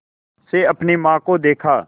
से अपनी माँ को देखा